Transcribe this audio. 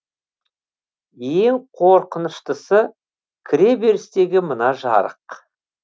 ең қорқыныштысы кіреберістегі мына жарық